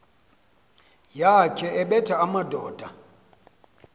yakhe ebetha amadoda